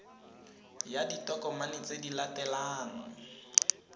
ya ditokomane tse di latelang